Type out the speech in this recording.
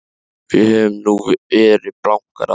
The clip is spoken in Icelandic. Við höfum nú verið blankar áður.